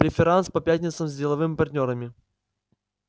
преферанс по пятницам с деловыми партнёрами